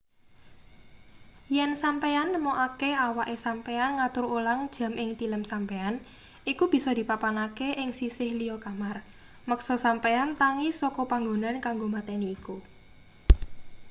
yen sampeyan nemokake awake sampeyan ngatur ulang jam ing tilem sampeyan iku bisa dipapanake ing sisih liya kamar meksa sampeyan tangi saka panggonan kanggo mateni iku